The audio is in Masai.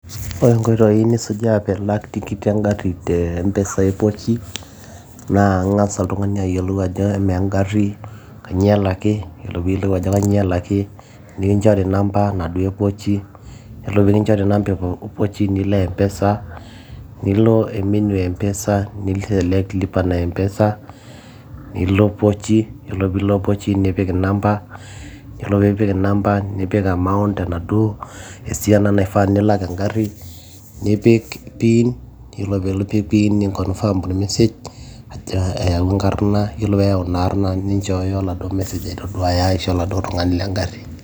ore inkoitoi nisujaa piilak tikit engarri te mpesa e pochi naa ing'as oltung'ani ayiolou ajo amaa engarri kanyio elaki yiolo piiyiolou ajo kanyio elaki yiolo piiyiolou ajo kanyio elaki nikinchori namba naduo epochi yiolo pikinchori nilo mpesa nilo e menu e mpesa nipik lipa na mpesa nilo pochi yiolo piilo pochi nipik inamba yiolo piipik inamba nipik amount enaduo esiana naifaa nilak engarri nipik pin yiolo piipik pin ninkonfam ormesej ajo eyawua enkarrna yiolo peeyau ina arrna ninchooyo oladuo message aitoduaya aisho oladuo tung'ani lengarri.